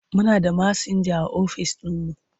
Muna da masinja a office ɗinmu.